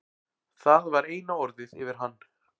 Það var eina orðið yfir hann.